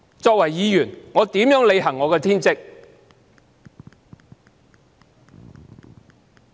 作為議員，我如何履行我的天職？